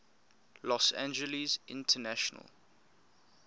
los angeles international